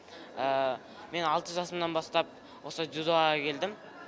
мен алты жасымнан бастап осы дзюдоға келдім